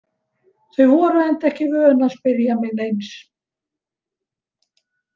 Þau voru enda ekki vön að spyrja mig neins.